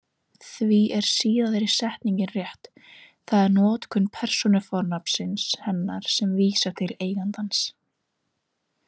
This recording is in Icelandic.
Því er síðari setningin rétt, það er notkun persónufornafnsins hennar sem vísar til eigandans.